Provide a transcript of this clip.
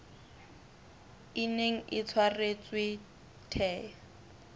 e neng e tshwaretswe the